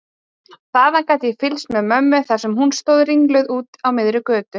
Þaðan gat ég fylgst með mömmu þar sem hún stóð ringluð úti á miðri götu.